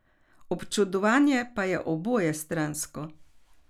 Občudovanje pa je obojestransko.